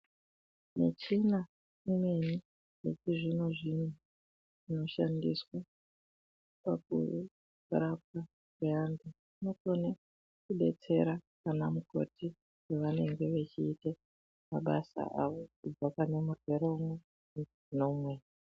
Michina imweni yechizvino zvino inoshandiswa Kurapa antu inodetsera ana mukoti pavanenge vechiita mabasa avo kubva pane murwere umwe pane umweni.